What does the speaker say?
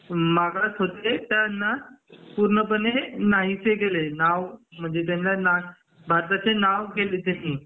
मागत होते त्यांना पूर्णपणे नाहीस केले नाव म्हणजे भारताला भारताचे नाव केले त्यांनी